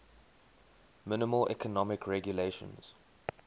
minimal economic regulations